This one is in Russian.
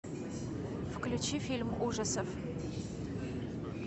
включи фильм ужасов